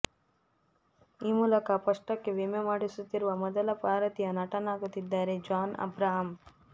ಈ ಮೂಲಕ ಪೃಷ್ಠಕ್ಕೆ ವಿಮೆ ಮಾಡಿಸುತ್ತಿರುವ ಮೊದಲ ಭಾರತೀಯ ನಟನಾಗುತ್ತಿದ್ದಾರೆ ಜಾನ್ ಅಬ್ರಹಾಂ